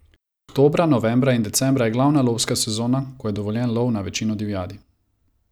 Oktobra, novembra in decembra je glavna lovska sezona, ko je dovoljen lov na večino divjadi.